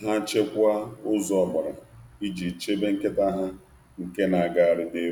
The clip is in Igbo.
ha gbachie ọnụ ụzọ iji chebe nkịta ha na-agagharị.